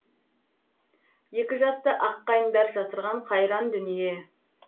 екі жасты аққайыңдар жасырған қайран дүние